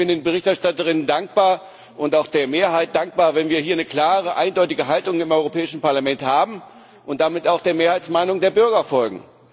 Ich bin den Berichterstatterinnen dankbar und auch der Mehrheit dankbar, wenn wir hier eine klare, eindeutige Haltung im Europäischen Parlament haben und damit auch der Mehrheitsmeinung der Bürger folgen.